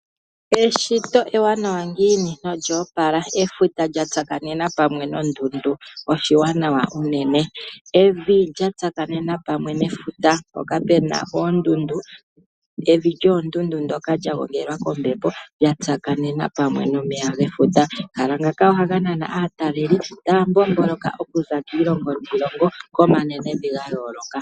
Eshito ewanawa ngiini olyo opala. Efuta lyatsakanena pamwe nondundu oshiwanawa unene. Evi lya tsakanena pamwe nefuta mpoka puna oondundu, evi lyoondundu ndoka lya gongelwa kombepo, lya tsakanena pamwe nomeya gefuta. Omahala ngaka ohaga nana aataleli po taya mbomboloka okuza kiilongo niilongo, komanenevi ga yooloka.